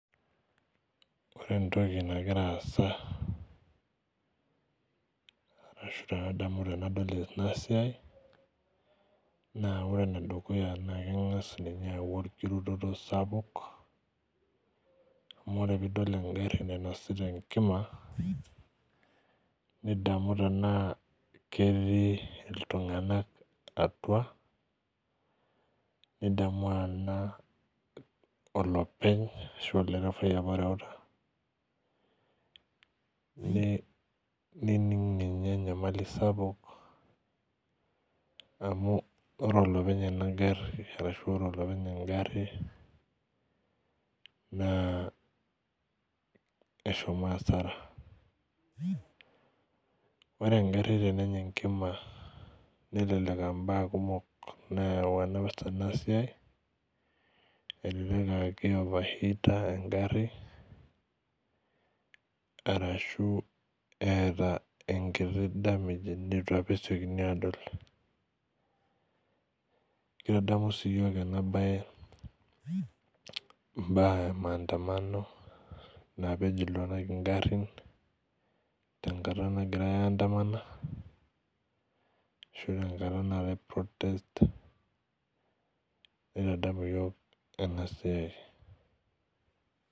Ore entoki nagira aasa ashu tenadamu tenadol enasiai naa ore enedukuya naa kengas ninye aau orkirutoto sapuk amu oe tenidol engari nainosita enkima nidamu tenaa ketii iltunganak atua nidamu anaa olopeny ashuaa olderefai apa oreuta nining ninye enyamali sapuk amu ore olopeny lenagari ashu ore olopeny engari naa eshomo asara .Ore engari tenenya enkima nelelek aa imbaa kumok nayautua enasiai elelek aakioverheater engari ashu elelek aa keeta apa enkiti nyamali neitu apa esiokini adol .Kitadamu sii iyiok enabae imbaa emaandamano napej iltunganak ingarin tenkata nagirae aandamana ashu tenkata naatae protesters nitadamu iyiok enasia.